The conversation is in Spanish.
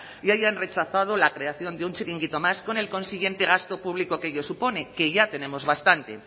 y hayan rechazado la creación de un chiringuito más con el consiguiente gasto público que ello supone que ya tenemos bastante